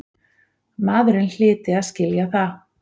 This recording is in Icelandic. Maðurinn hlyti að skilja það.